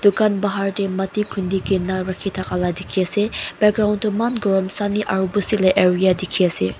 kan bahar te Matti khundi kina rakhi thakala dikhi ase background to iman gorim sunny aru busti la area dekhi ase.